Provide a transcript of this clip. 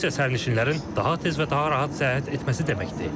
Bu isə sərnişinlərin daha tez və daha rahat səyahət etməsi deməkdir.